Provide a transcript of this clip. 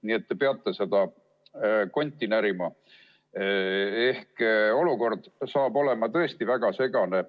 Nii et te peate seda konti närima ehk olukord saab olema tõesti väga segane.